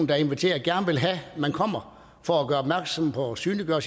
der inviterer gerne vil have at man kommer for at gøre opmærksom på og synliggøre